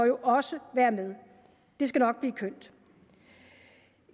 også være med det skal nok blive kønt